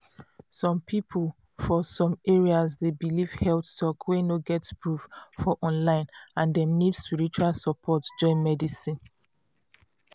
some people for some areas dey believe health talk wey no get proof for online and dem need spiritual support join medicine.